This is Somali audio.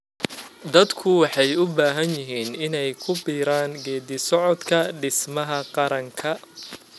Dadku waxay u baahnaayeen inay ku biiraan geeddi-socodka dhismaha qaranka.